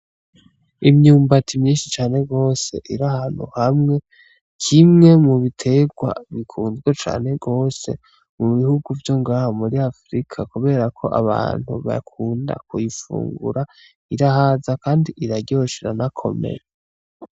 Imyumbati myinshi cane gose iri ahantu hamwe, kimwe mu bitegwa bikunzwe cane gose mu bihugu vyo ngaha muri afrika kubera ko abantu bakunda kubifungura irahaza kandi iraryoshe iranakomeye.